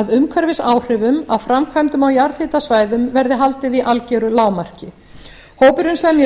að umhverfisáhrifum af framkvæmdum á jarðhitasvæðum verði haldið í algjöru lágmarki hópurinn semji